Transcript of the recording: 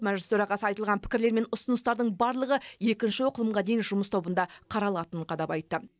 мәжіліс төрағасы айтылған пікірлер мен ұсыныстардың барлығы екінші оқылымға дейін жұмыс тобында қаралатынын қадап айтты